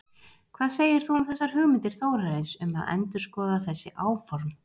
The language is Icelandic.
Hvað segir þú um þessar hugmyndir Þórarins um að endurskoða þessi áform?